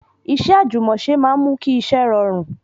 Iṣẹ́ àjùmọ̀ṣe máa ń mú kí iṣẹ́ rọrùn